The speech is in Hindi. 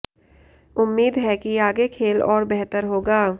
उम्मीद है कि आगे खेल और बेहतर होगा